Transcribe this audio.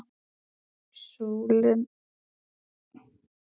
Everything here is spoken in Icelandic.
Slóðin rakin